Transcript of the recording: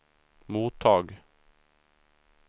mottag